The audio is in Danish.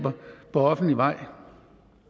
hvorfor